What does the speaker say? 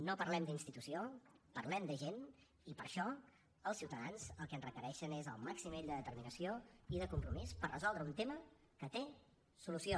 no parlem d’institució parlem de gent i per això els ciutadans el que ens requereixen és el màxim nivell de determinació i de compromís per resoldre un tema que té solució